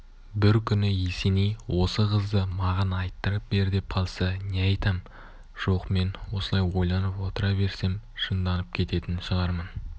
бір күні есеней осы қызды маған айттырып бер деп қалса не айтам жоқ мен осылай ойланып отыра берсем жынданып кететін шығармын